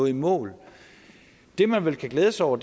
i mål det man vel kan glæde sig over